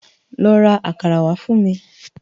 Lò rá àkàrá wá fun mi